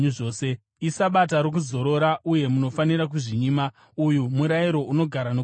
Isabata rokuzorora, uye munofanira kuzvinyima; uyu murayiro unogara nokusingaperi.